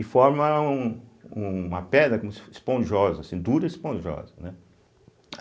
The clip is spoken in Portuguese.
E forma um uma pedra como se fosse esponjosa, assim, dura e esponjosa, né.